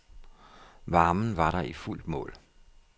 Varmen var der i fuldt mål.